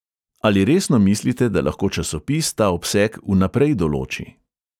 Ali resno mislite, da lahko časopis ta obseg vnaprej določi?